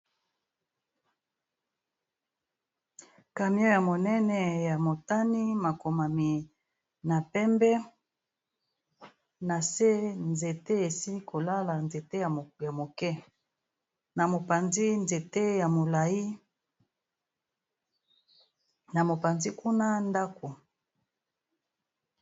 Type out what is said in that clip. Camion ya monene ya motani, makomami na pembe, na se nzete esili kolala nzete ya moke, na mopanzi nzete ya molai, na mopanzi kuna ndako.